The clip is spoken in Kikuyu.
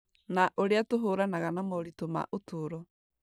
na ũrĩa tũhũranaga na moritũ ma ũtũũro.